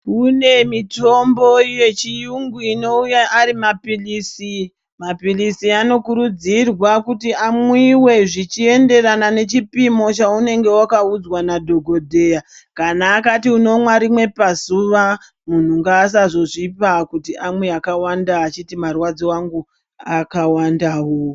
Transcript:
Kune mitombo yechiyungu ino uya ari mapilisi mapilisi anokurudzirwa kuti amwiwe zvichi enderana nechipimo chaunenge waka udzwa na dhokoteya kana akati unomwa rimwe pazuva munhu ngaasazozvipa kuti amwe akawanda achiti marwadzo angu aka wandawo .